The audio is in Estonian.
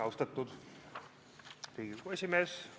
Austatud Riigikogu esimees!